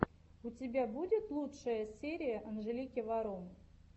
у тебя будет лучшая серия анжелики варум